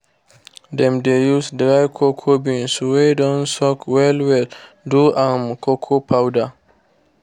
dem dey use dry cocoa beans wey don soak well-well do um cocoa powder.